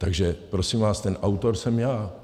Takže prosím vás, ten autor jsem já.